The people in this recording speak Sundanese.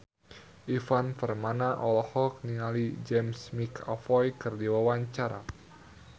Ivan Permana olohok ningali James McAvoy keur diwawancara